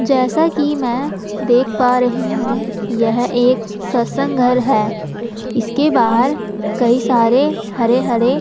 जैसा कि मैं देख पा रही हूं यह एक सत्संग घर है इसके बाहर कई सारे हरे-हरे --